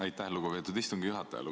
Aitäh, lugupeetud istungi juhataja!